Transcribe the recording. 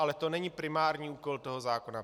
Ale to není primární úkol toho zákona.